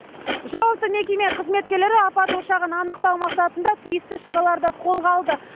жауапты мекеме қызметкерлері апат ошағын анықтау мақсатында тиісті шараларды қолға алды